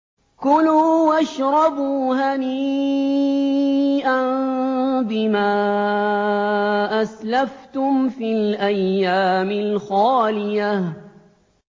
كُلُوا وَاشْرَبُوا هَنِيئًا بِمَا أَسْلَفْتُمْ فِي الْأَيَّامِ الْخَالِيَةِ